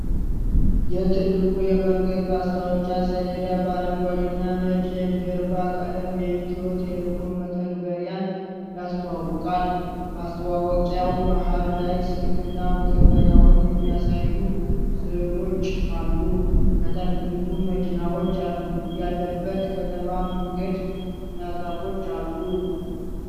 የትልቁ የመንገድ ማስታወቂያ ሰሌዳ በአረንጓዴ እና ነጭ የጀርባ ቀለም የኢትዮ ቴሌኮም መተግበሪያን ያስተዋውቃል። ማስታወቂያው መሃል ላይ ስልክና መተግበሪያውን የሚያሳዩ ሥዕሎች አሉ። ከታች ብዙ መኪናዎች ያለበት ከተማ መንገድ እና ዛፎች አሉ።